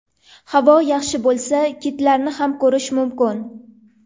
Havo yaxshi bo‘lsa, kitlarni ham ko‘rish mumkin.